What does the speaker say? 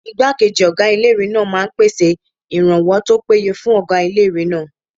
Ìgbákejì ọgá ilé-ìwé náà máa n pèsè ìrànwọ́ tó péye fún ọgá ilé-ìwé náà